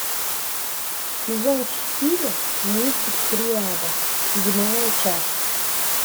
сезон четыре мультик триада седьмая часть